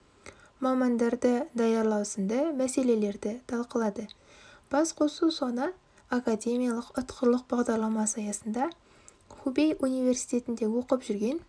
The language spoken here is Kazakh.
мамандарды даярлау сынды мәселелерді талқылады басқосу соңы академиялық ұтқырлық бағдарламасы аясында хубей университетінде оқып жүрген